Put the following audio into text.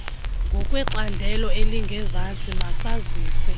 ngokwecandelo elingezantsi masazise